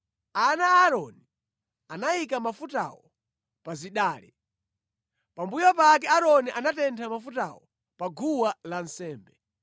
Ana a Aaroni anayika mafutawo pa zidale. Pambuyo pake Aaroni anatentha mafutawo pa guwa lansembe.